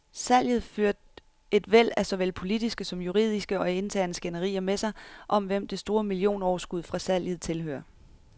Salget førte et væld af såvel politiske som juridiske og interne skænderier med sig, om hvem det store millionoverskud fra salget tilhører.